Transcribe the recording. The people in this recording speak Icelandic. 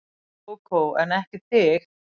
Kókó en ekki þig.